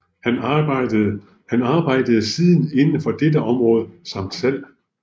Han arbejde siden inden for dette område samt salg